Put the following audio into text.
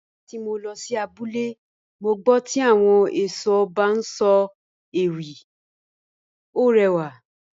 Nígbà tí mo lọ sí abúlé, mo gbọ́ tí àwọn ẹ̀ṣọ́ ọba ń sọ ewì, ó rẹwà